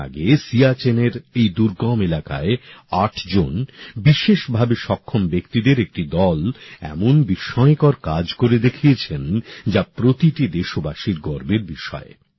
কিছুদিন আগে সিয়াচেন এর এই দুর্গম এলাকায় ৮ জন ভিন্নভাবে সক্ষম ব্যক্তিদের একটি দল এমন বিস্ময়কর কাজ করে দেখিয়েছে যা প্রতিটি দেশবাসীর গর্বের বিষয়